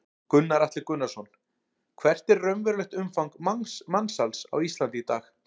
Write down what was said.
Gunnar Atli Gunnarsson: Hvert er raunverulegt umfang mansals á Íslandi í dag?